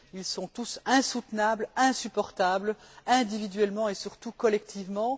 Ils sont tous insoutenables, insupportables, individuellement et, surtout, collectivement.